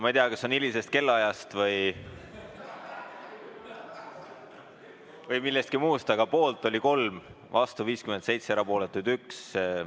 Ma ei tea, kas see on hilisest kellaajast või millestki muust, aga poolt oli 3, vastu 57 ja erapooletuid 1.